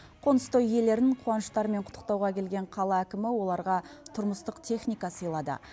қоныстой иелерін қуаныштарымен құттықтауға келген қала әкімі оларға тұрмыстық техника сыйлады